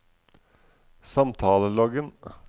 samtaleloggen